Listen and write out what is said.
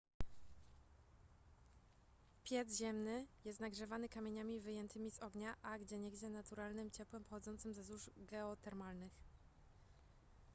piec ziemny jest nagrzewany kamieniami wyjętymi z ognia a gdzieniegdzie naturalnym ciepłem pochodzącym ze złóż geotermalnych